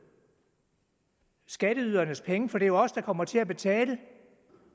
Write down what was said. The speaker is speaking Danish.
skatteydernes penge for det er jo os der kommer til at betale